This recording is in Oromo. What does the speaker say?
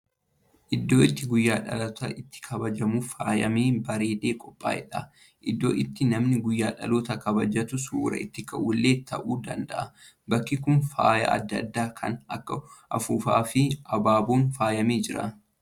Iddoo itti guyyaan dhalootaa itti kabajamuuf faayamee, bareedee qophaa'edha. Iddoo itti nami guyyaa dhalootaa kabajatu suura itti ka'u illee ta'uu danda'a. Bakki kun faaya adda addaa kan akka afuuffaa fi abaaboon faayamee jira.